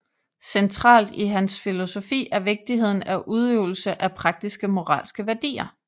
Centralt i hans filosofi er vigtigheden af udøvelse af praktiske moralske værdier